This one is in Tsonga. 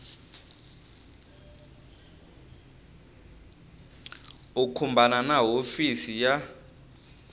u khumbana na hofisi ya